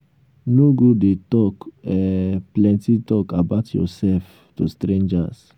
no go dey talk um plenty talk about yourself to strangers